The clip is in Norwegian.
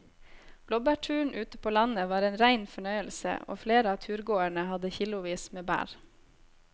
Blåbærturen ute på landet var en rein fornøyelse og flere av turgåerene hadde kilosvis med bær.